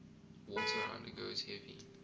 water undergoes heavy